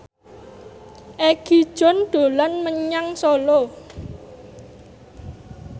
Egi John dolan menyang Solo